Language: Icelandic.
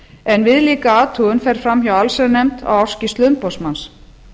en viðlíka athugun fer fram hjá allsherjarnefnd á ársskýrslu umboðsmanns